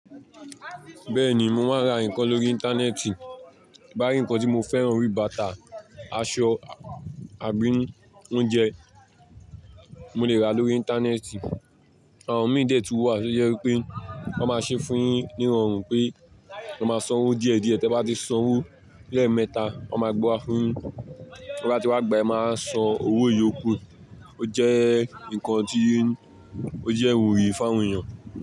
Bẹ́ẹ̀ni mo máa ń ra nǹkan lórí Íńtánẹ́ẹ̀tì. Bá nìkan tí mo fẹ́ran orí bàtà, aṣọ àbí oúnjẹ, mo lè rà lórí Íńtánẹ́ẹ̀tì. Àwon imi dẹ́ tún wà tí ojẹ́ wípé wọ́n máa ṣe fún un yín nírọ̀rùn pé, kẹ máa san owó díẹ̀ díẹ̀, tí ẹ bá ti san owó lẹ́ẹ̀mẹta, wọ́n máa gbé wa fún yin. Tí ẹ bá ti wá gbé, ẹ máa wá san owó ìyókù. Ó jẹ́ nǹkan tí ó jẹ́ ìwúrí fún àwọn èèyàn.